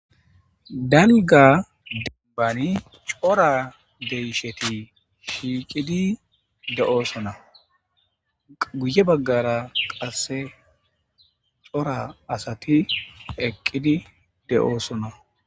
danga dembani cora deyisheti shiiqidi de7oosonaguye baggara qasse cora asati eqqidi de7oosona